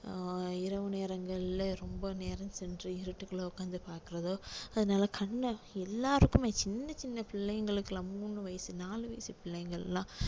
அஹ் இரவு நேரங்கள்ல ரொம்ப நேரம் சென்று இருட்டுக்குள்ள உட்கார்ந்து பார்க்கிறதோ அதனால கண்ணுல எல்லாருக்குமே சின்ன சின்ன பிள்ளைங்களுக்குலாம் மூணு வயசு நாலு வயசு பிள்ளைங்க எல்லாம்